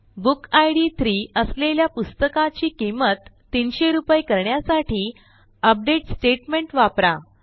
book id 3 असलेल्या पुस्तकाची किंमत 300 रूपये करण्यासाठी अपडेट स्टेटमेंट वापरा